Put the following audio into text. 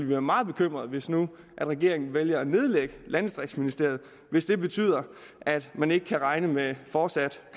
være meget bekymrede hvis nu regeringen valgte at nedlægge landdistriktsministeriet hvis det betød at man ikke kunne regne med fortsat